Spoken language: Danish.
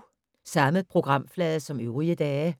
Samme programflade som øvrige dage